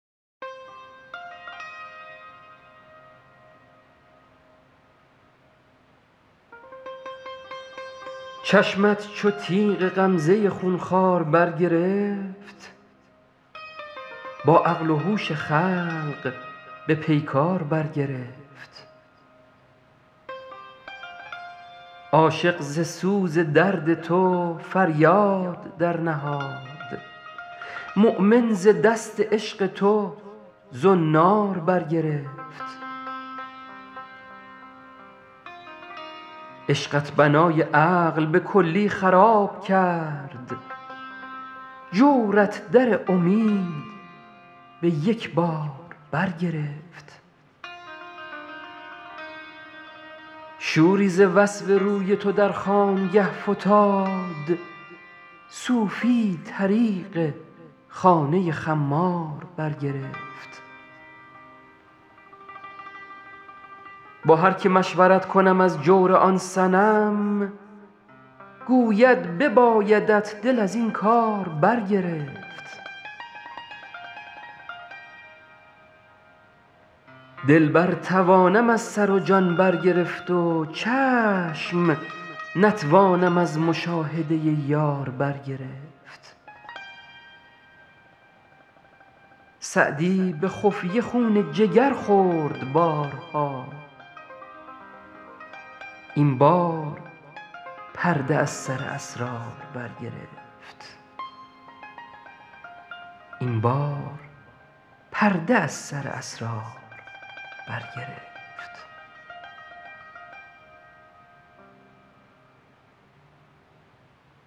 چشمت چو تیغ غمزه خون خوار برگرفت با عقل و هوش خلق به پیکار برگرفت عاشق ز سوز درد تو فریاد درنهاد مؤمن ز دست عشق تو زنار برگرفت عشقت بنای عقل به کلی خراب کرد جورت در امید به یک بار برگرفت شوری ز وصف روی تو در خانگه فتاد صوفی طریق خانه خمار برگرفت با هر که مشورت کنم از جور آن صنم گوید ببایدت دل از این کار برگرفت دل برتوانم از سر و جان برگرفت و چشم نتوانم از مشاهده یار برگرفت سعدی به خفیه خون جگر خورد بارها این بار پرده از سر اسرار برگرفت